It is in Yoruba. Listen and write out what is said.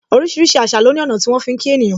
Orísìírísìí àṣà lo ní ọ̀nà tí wọn fi ń kí ènìyàn.